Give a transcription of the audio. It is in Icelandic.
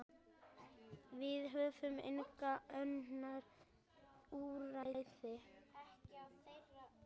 Við höfum engin önnur úrræði.